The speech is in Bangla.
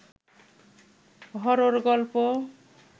হরর গল্প